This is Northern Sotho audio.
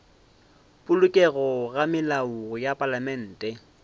polokego ga melao ya palamente